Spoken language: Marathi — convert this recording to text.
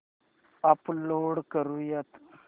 अपलोड करुयात